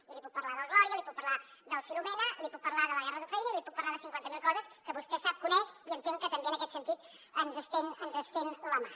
i li puc parlar del glòria li puc parlar del filomena li puc parlar de la guerra d’ucraïna i li puc parlar de cinquanta mil coses que vostè sap coneix i entenc que també en aquest sentit ens estén la mà